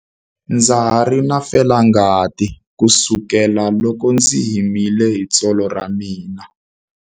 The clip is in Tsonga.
Ndza ha ri na felangati kusukela loko ndzi himile hi tsolo ra mina.